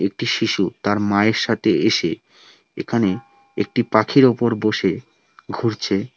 একটি শিশু তার মায়ের সাথে এসে এখানে একটি পাখির উপর বসে ঘুরছে।